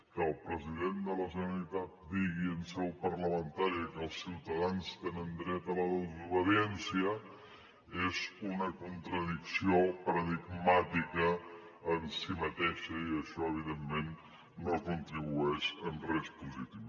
que el president de la generalitat digui en seu parlamentària que els ciutadans tenen dret a la desobediència és una contradicció paradigmàtica en si mateixa i això evidentment no contribueix en res positiu